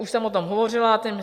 Už jsem o tom hovořila.